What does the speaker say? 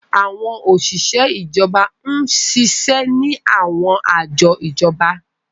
Àwọn oṣiṣẹ ijọba n ṣiṣẹ ni àwọn ajọ ijọba.